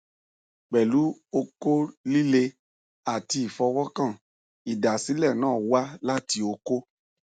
pẹ̀lu okó líle àti ifọwọ́kàn ìdásílẹ̀ náà wá láti okó